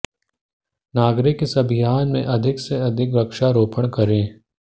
नागरिक इस अभियान में अधिक से अधिक वृक्षारोपण करें